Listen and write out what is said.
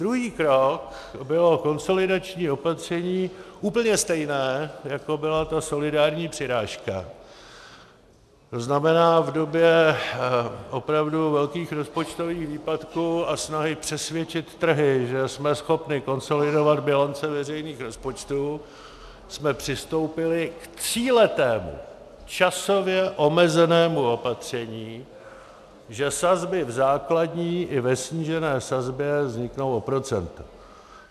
Druhý krok bylo konsolidační opatření úplně stejné, jako byla ta solidární přirážka, to znamená, v době opravdu velkých rozpočtových výpadků a snahy přesvědčit trhy, že jsme schopni konsolidovat bilance veřejných rozpočtů, jsme přistoupili k tříletému, časově omezenému opatření, že sazby v základní i ve snížené sazbě vzniknou o procento.